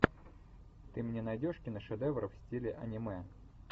ты мне найдешь киношедевр в стиле аниме